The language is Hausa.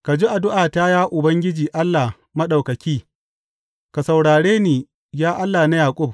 Ka ji addu’ata, ya Ubangiji Allah Maɗaukaki; ka saurare ni, ya Allah na Yaƙub.